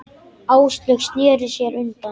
Áslaug sneri sér undan.